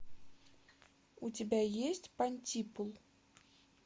у тебя есть понтипул